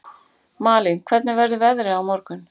Malín, hvernig verður veðrið á morgun?